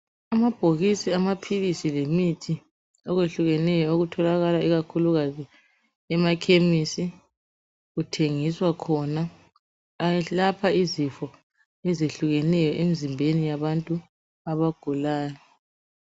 Amabhokisi amaphilisi lemithi okwehlukeneyo okutholakala ikakhulukazi emakhemisi kuthengiswa khona, ayelapha izifo ezehlukeneyo emzimbeni yabantu abagulayo.